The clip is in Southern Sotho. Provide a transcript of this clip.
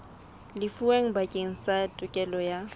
lefuweng bakeng sa tokelo ya